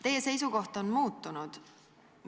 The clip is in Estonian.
Teie seisukoht on muutunud.